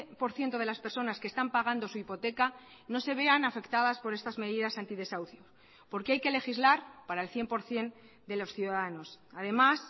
por ciento de las personas que están pagando su hipoteca no se vean afectadas por estas medidas antidesahucio porque hay que legislar para el cien por ciento de los ciudadanos además